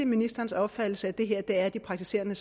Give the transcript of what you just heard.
ministerens opfattelse at det her er de praktiserende